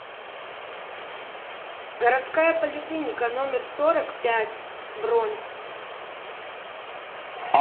городская поликлиника номер сорок пять бронь